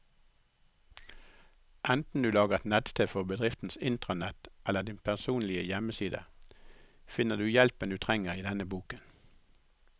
Enten du lager et nettsted for bedriftens intranett eller din personlige hjemmeside, finner du hjelpen du trenger i denne boken.